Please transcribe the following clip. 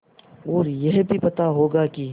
और यह भी पता होगा कि